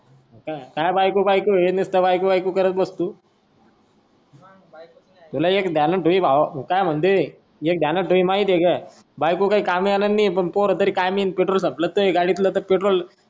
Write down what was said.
काय बायको बायको हे नुसत बायको बायको करत बसतो. मग बायको.